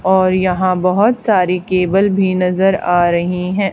और यहां बहोत सारी केबल भी नजर आ रही है।